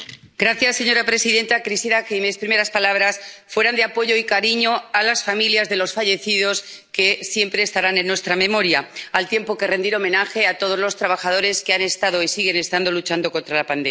Señora presidenta, quisiera que mis primeras palabras fueran de apoyo y cariño a las familias de los fallecidos, que siempre estarán en nuestra memoria, al tiempo que deseo rendir homenaje a todos los trabajadores que han estado y siguen estando luchando contra la pandemia.